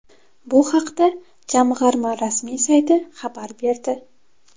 Bu haqda jamg‘arma rasmiy sayti xabar berdi .